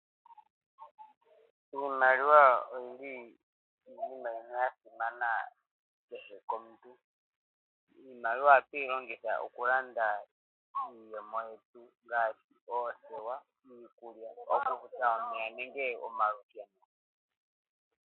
Iimaliwa oyili oshinima shasimana kehe komuntu iimaliwa ohatu yilongitha okulanda iipumbiwa yetu ngaashi oothewa, omeya nomalusheno.